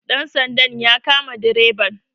dansandan ya kama dreban